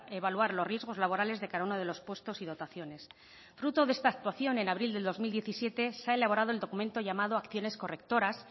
evaluar los riesgos laborales de cada uno de los puestos y dotaciones fruto de esta actuación en abril de dos mil diecisiete se ha elaborado el documento llamado acciones correctoras